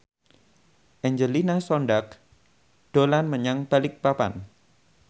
Angelina Sondakh dolan menyang Balikpapan